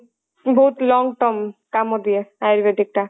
ବହୁତ long term କାମ ଦିଏ ayurvedic ଟା